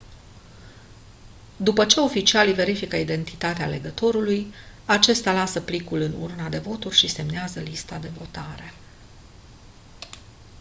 după ce oficialii verifică identitatea alegătorului acesta lasă plicul în urna de voturi și semnează lista de votare